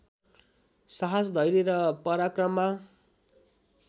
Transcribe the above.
साहस धैर्य र पराक्रममा